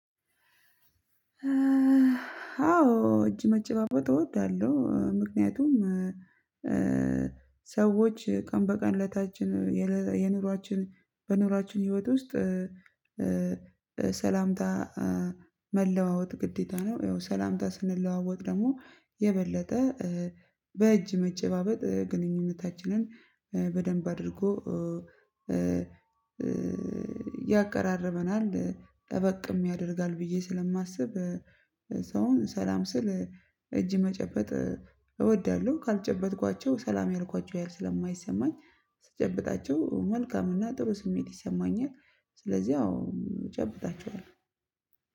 አዎ እጅ መጨባበጥ እወዳለሁ ምክንያቱም ሰዎች ቀን በቀን እለታችን የኑሯችን በኑሯችን ህይወት ውስጥ ሰላምታ መለዋወጥ ግዴታ ነው። ይኸው ሰላምታ ስንለዋወጥ ደግሞ የበለጠ በእጅ መጨባበጥ ግንኙነታችንን በደንብ አድርጎ ያቀራርበናል ጠበቅም ያደርጋል። ብዬ ስለማስብ ሰውን ሰላም ስል እጅ መጨበጥ እወዳለሁ። ካልጨበጥኳቸው ሰላም ያልኳቸው ያህል ስለማይሰማኝ ስጨብጣቸው መልካምና ጥሩ ስሜት ይሰማኛል። ስለዚህ አው እጨብጣችኋለው።